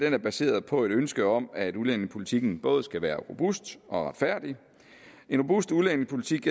er baseret på et ønske om at udlændingepolitikken både skal være robust og retfærdig en robust udlændingepolitik